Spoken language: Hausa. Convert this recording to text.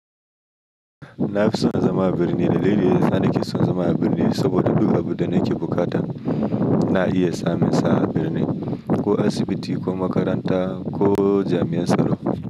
Nafi son zama a birni dalili yasa nake son zama a birni saboda duk abunda nake buƙata na iya samun sa a birni, ko asibiti ko makaranta ko jami'an tsaro.